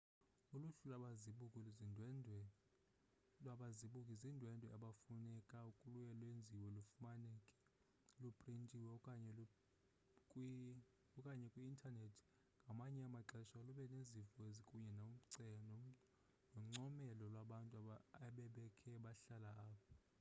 uluhlu lwababuki zindwendwe abafumaneka luye lwenziwe lufumaneke luprintiwe okanye kwi-intanethi ngamanye amaxesha luba nezimvo kunye noncomelo lwabantu ebebekhe bahlala apho